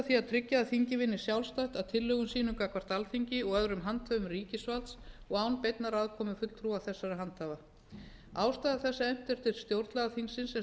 því tryggja að þingið vinni sjálfstætt að tillögum sínum gagnvart alþingi og öðrum handhöfum ríkisvalds og án beinnar aðkomu fulltrúa þessara handhafa ástæða þess að efnt er til stjórnlagaþingsins sem